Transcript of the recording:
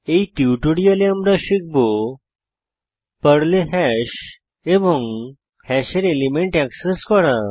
এই টিউটোরিয়ালে আমরা শিখব পর্লে হ্যাশ এবং হ্যাশের এলিমেন্ট এক্সেস করা